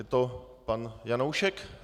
Je to pan Janoušek?